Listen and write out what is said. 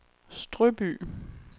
Strøby